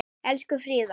Elsku Fríða.